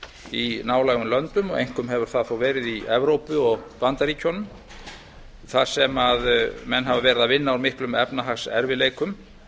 í nálægum löndum einkum hefur það þó verið í evrópu og bandaríkjunum þar sem menn hafa unnið úr miklum efnahagserfiðleikum